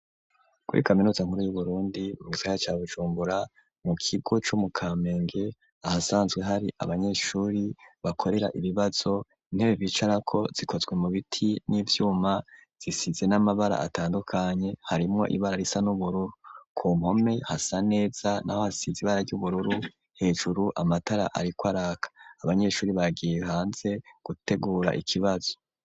Kuri kaminuza nkuru y'Uburundi mu gisagara ca Bujumbura mu kigo co mu Kamenge ahasanzwe hari abanyeshuri bakorera ibibazo, intebe bicarako zikozwe mu biti n'ivyuma zisize n'amabara atandukanye harimwo ibara risa n'ubururu, ku mpome hasa neza naho hasize ibara ry'ubururu, hejuru amatara ariko araka, abanyeshuri bagiye hanze gutegura ikibazo.